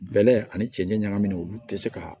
Bɛlɛ ani cɛncɛn ɲagamin olu tɛ se ka